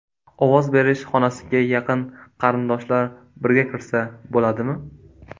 Ovoz berish xonasiga yaqin qarindoshlar birga kirsa bo‘ladimi?